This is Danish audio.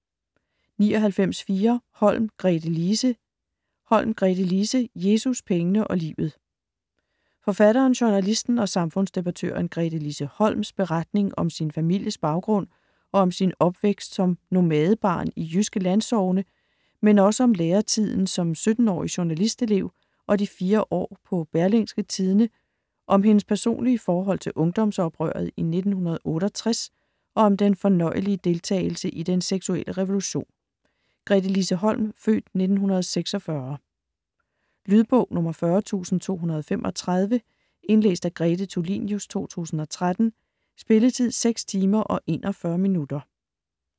99.4 Holm, Gretelise Holm, Gretelise: Jesus, pengene og livet Forfatteren, journalisten og samfundsdebattøren Gretelise Holms (f. 1946) beretning om sin families baggrund og om sin opvækst som nomadebarn i jyske landsogne, men også om læretiden som 17-årig journalistelev og de 4 år på Berlingske Tidende, om hendes personlige forhold til ungdomsoprøret i 1968 og om den fornøjelige deltagelse i den seksuelle revolution. Lydbog 40235 Indlæst af Grete Tulinius, 2013. Spilletid: 6 timer, 41 minutter.